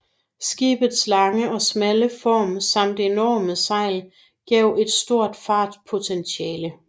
Skibets lange og smalle form samt enorme sejl gav et stort fartpotentiale